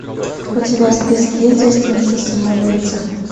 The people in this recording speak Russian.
у тебя в списке есть девственница самоубийца